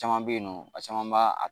Caman bɛ yen nɔ a caman b'a